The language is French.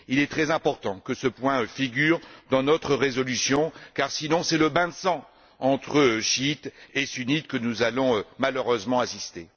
Il est très important que ce point figure dans notre résolution, car sinon c'est à un bain de sang entre chiites et sunnites, auquel nous allons malheureusement assister.